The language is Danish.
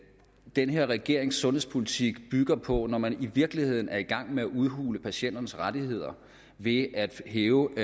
den her regerings sundhedspolitik bygger på når man i virkeligheden er i gang med at udhule patienternes rettigheder ved at hæve